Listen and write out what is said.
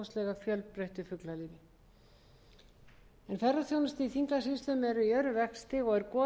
fjölbreyttu fuglalífi ferðaþjónusta í þingeyjarsýslum er í örum vexti og er goðafoss